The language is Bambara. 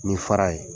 Ni fara ye